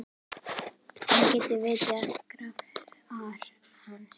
Hún geti vitjað grafar hans.